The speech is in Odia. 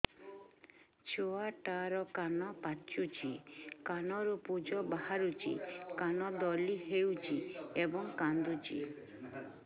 ଛୁଆ ଟା ର କାନ ପାଚୁଛି କାନରୁ ପୂଜ ବାହାରୁଛି କାନ ଦଳି ହେଉଛି ଏବଂ କାନ୍ଦୁଚି